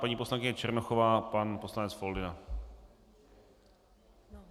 Paní poslankyně Černochová, pan poslanec Foldyna.